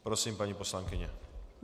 Prosím, paní poslankyně.